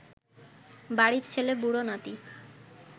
বাড়ির ছেলে বুড়ো নাতি